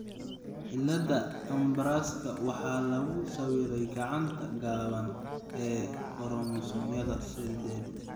Cillada Ambraska waxaa lagu sawiray gacanta gaaban (q) ee koromosoomyada sedad.